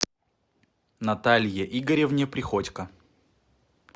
наталье игоревне приходько